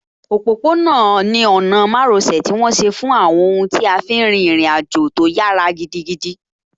Òpópó-ọ̀nà ni ọ̀nà márosẹ̀ tí wọ́n ṣe fún àwọn ohun tí a fí n rin ìrìn àjò tó yára gidigidi